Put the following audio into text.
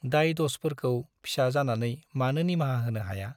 दाय- दसफोरखौ फिसा जानानै मानो निमाहा होनो हाया ?